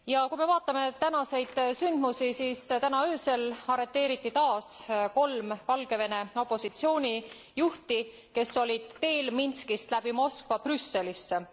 Kui me vaatame tänaseid sündmusi, siis täna öösel arreteeriti taas kolm Valgevene opositsioonijuhti, kes olid teel Minskist läbi Moskva Brüsselisse.